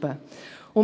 können.